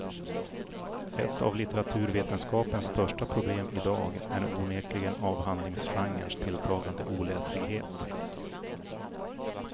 Ett av litteraturvetenskapens största problem i dag är onekligen avhandlingsgenrens tilltagande oläslighet.